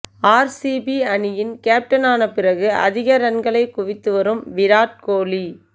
RCB அணியின் captain ஆன பிறகு அதிக ரன்களைக் குவித்து வரும் விராட் கோலி